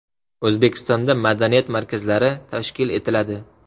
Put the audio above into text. O‘zbekistonda madaniyat markazlari tashkil etiladi.